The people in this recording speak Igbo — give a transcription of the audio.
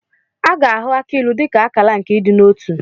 A ga-ahụ akị ilu dị ka akala nke ịdị n'otu.